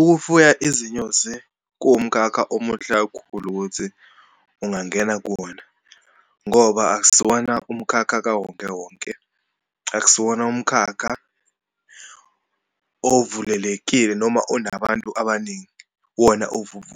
Ukufuya izinyosi kuwumkhakha omuhle kakhulu ukuthi ungangena kuwona, ngoba akusiwona umkhakha kawonke wonke, akusiwona umkhakha ovulelekile noma onabantu abaningi. Wona